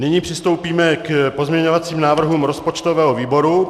Nyní přistoupíme k pozměňovacím návrhům rozpočtového výboru.